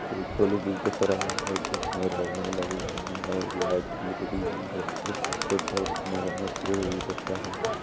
एक पुल भी दिख रहा है जिसमे रेलिंग लगी हुई है और लाईट भी लगीं हुई हैं और पीछे बहोत घने पेड़ भी दिख रहे हैं।